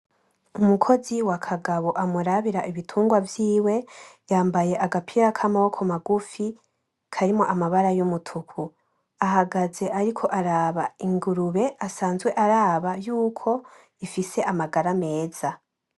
Umukozi wa kagabo amurabira ibitungwa vyiwe yambaye agapira k’amaboko magufi karimwo amabara y’umutuku. Ahagaze ariko araba ingurube asanzwe araba yuko ifise amagara meza.